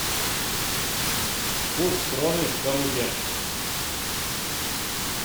курс кроны в калуге